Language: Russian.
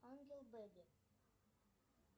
ангел беби